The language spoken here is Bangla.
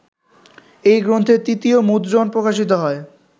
এই গ্রন্থের তৃতীয় মুদ্রণ প্রকাশিত হয়